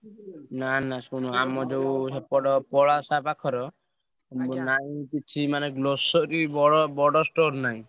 ନା ନା ଶୁଣ ଆମ ଯୋଉ ସେପଟ ପଳାଶା ପାଖର ନାହିଁ କିଛି ମାନେ grocery ବଡ ବଡ store ନାହିଁ।